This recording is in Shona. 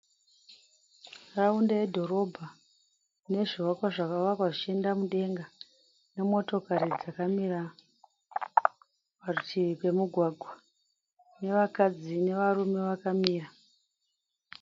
nharaunda yedhorobha ine zvivakwa zvakavakwa zvichienda mudenga. nemotokari dzakamira parutivi pomugwagwa, nevakadzi nevarume vakamira.